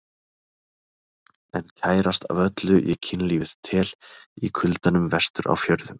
En kærast af öllu ég kynlífið tel, í kuldanum vestur á fjörðum.